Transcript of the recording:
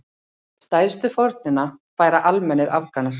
Stærstu fórnina færa almennir Afganar.